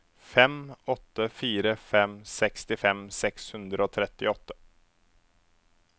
fem åtte fire fem sekstifem seks hundre og trettiåtte